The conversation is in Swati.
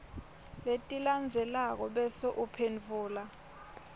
letilandzelako bese uphendvula